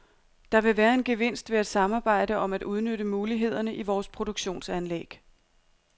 Der vil være en gevinst ved at samarbejde om at udnytte mulighederne i vores produktionsanlæg.